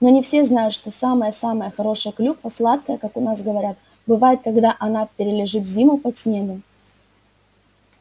но не все знают что самая-самая хорошая клюква сладкая как у нас говорят бывает когда она перележит зиму под снегом